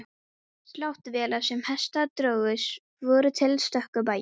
Sláttuvélar sem hestar drógu voru til á stöku bæjum.